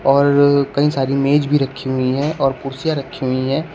और कई सारी मेज भी रखी हुई है और कुर्सियां रखी हुई है।